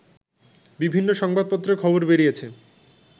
বিভিন্ন সংবাদপত্রে খবর বেরিয়েছে